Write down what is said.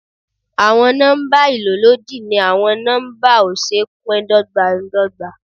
Àwọn nọ́mbà ìlólòdi ni àwọn nọ́mbà ó ṣeé pín dọ́gbándọgba.